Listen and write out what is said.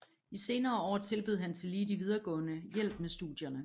I senere år tilbød han tillige de videregående hjælp med studierne